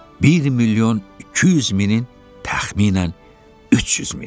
Bir milyon 200 minin təxminən 300 mini.